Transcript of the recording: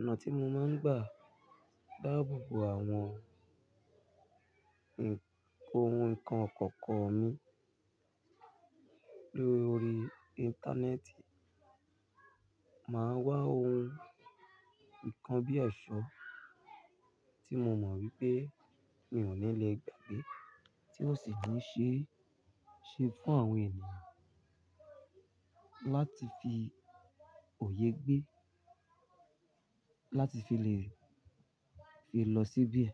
Ọ̀nà tí mo máa ń gbà dáàbò bo àwọn ohun nǹkan kọ̀ọ̀ko mi lórí Íńtánẹ́ẹ̀tì, màá wá ohun kan bí ẹ̀ṣọ́ tí mo mọ̀ wípé mi ò ní le gbàgbé tí ó sì jẹ́ ṣe fún àwọn ènìyàn láti fi òye gbé, láti fi lè fi lọ síbíẹ̀,